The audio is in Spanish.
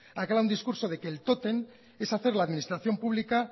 un discurso de que el tótem es hacer la administración pública